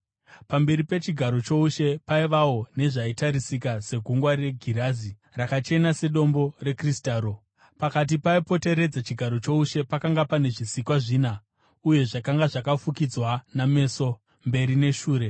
Pamberi pechigaro choushe paivawo nezvaitarisika segungwa regirazi, rakachena sedombo rekristaro. Pakati, paipoteredza chigaro choushe, pakanga pane zvisikwa zvina, uye zvakanga zvakafukidzwa nameso, mberi neshure.